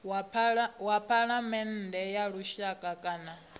wa phalamennde ya lushaka kana